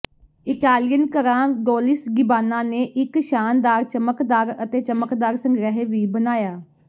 Italian ਘਰਾਂ Dolce Gabbana ਨੇ ਇਕ ਸ਼ਾਨਦਾਰ ਚਮਕਦਾਰ ਅਤੇ ਚਮਕਦਾਰ ਸੰਗ੍ਰਹਿ ਵੀ ਬਣਾਇਆ